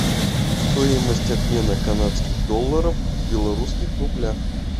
стоимость обмена канадских долларов в белорусских рублях